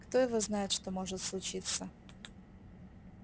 кто его знает что может случиться